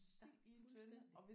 Ja fuldstændig